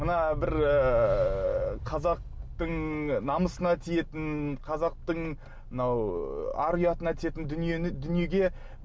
мына бір ыыы қазақтың намысына тиетін қазақтың мынау ы ар ұятына тиетін дүниені дүниеге